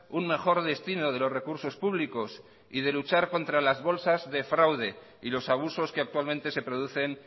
un mejor destino de los recursos públicos y de luchar contra las bolsas de fraude y los abusos que actualmente se producen